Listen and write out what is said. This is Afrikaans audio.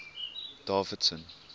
davidson